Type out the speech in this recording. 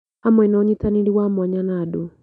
Hamwe na ũnyitanĩri wa mwanya na andũ